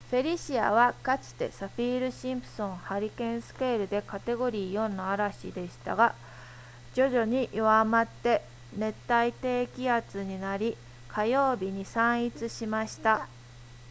フェリシアはかつてサフィールシンプソンハリケーンスケールでカテゴリー4の嵐でしたが徐々に弱まって熱帯低気圧になり火曜日に散逸しました